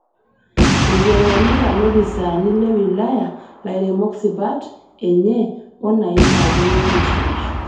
Eiteng'enita lopisaani le wilaya lairemok sipat enye o naishaakino nesuj